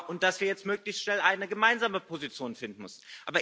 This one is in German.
und dass wir jetzt möglichst schnell eine gemeinsame Position finden müssen.